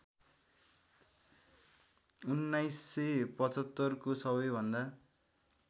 १९७५ को सबैभन्दा